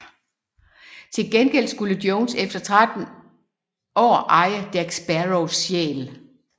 Til gengæld skulle Jones efter 13 år eje Jack Sparrows sjæl